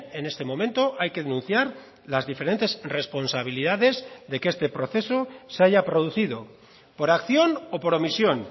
en este momento hay que denunciar las diferentes responsabilidades de que este proceso se haya producido por acción o por omisión